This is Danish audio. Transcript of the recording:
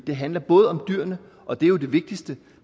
det handler både om dyrene og det er jo det vigtigste